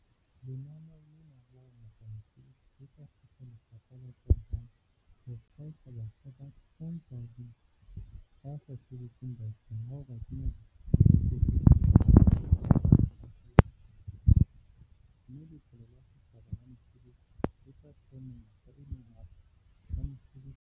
Lenaneo lena la ho ngoka mesebetsi le tla thusa Lefapha la tsa Lehae ho thaotha batjha ba 10 000 ba sa sebetseng bakeng la ho kenya direkoto tse pampiring tsa lefapha dikhomphuteng, mme Letlole la Setjhaba la Mesebetsi, SEF, le tla thea menyetla e meng hape ya mesebetsi e 50 000.